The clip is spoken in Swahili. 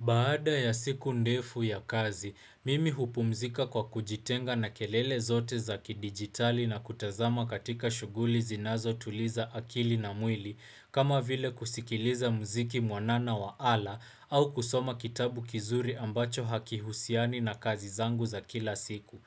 Baada ya siku ndefu ya kazi, mimi hupumzika kwa kujitenga na kelele zote za ki digitali na kutazama katika shuguli zinazo tuliza akili na mwili kama vile kusikiliza mziki mwanana wa ala au kusoma kitabu kizuri ambacho hakihusiani na kazi zangu za kila siku.